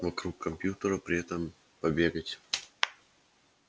вокруг компьютера при этом побегать